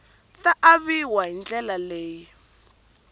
ta aviwa hi ndlela leyi